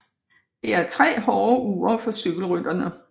Det er 3 hårde uger for cykelrytterne